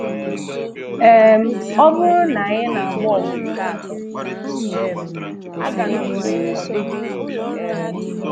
um Ọ bụrụ na anyị na-agba ọgụ nke atọ, um aga m enwe ọdịdị. um